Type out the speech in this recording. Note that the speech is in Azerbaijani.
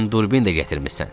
Sən durbin də gətirmisən.